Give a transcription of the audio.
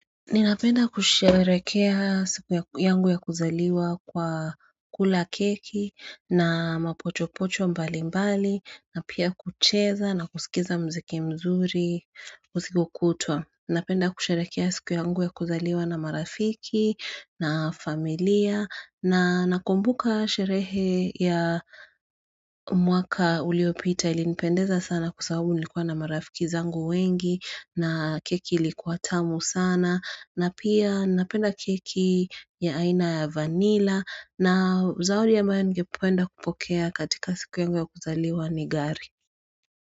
Ninapenda kusherekea siku yangu ya kuzaliwa kwa kula keki na mapochopocho mbali mbali na pia kucheza na kuskiza mziki mzuri usiku kutwa. Napenda kusherekea siku yangu ya kuzaliwa na marafiki na familia na nakumbuka sherehe ya mwaka uliopita ili nipendeza sana kwa sababu nilikuwa na marafiki zangu wengi na keki ilikuwa tamu sana. Na pia napenda keki ya aina ya vanilla na zawadi ambayo ningepoenda kupokea katika siku yangu ya kuzaliwa nigari.